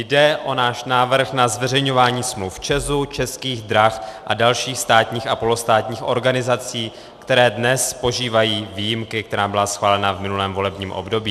Jde o náš návrh na zveřejňování smluv ČEZu, Českých drah a dalších státních a polostátních organizací, které dnes požívají výjimky, která byla schválena v minulém volebním období.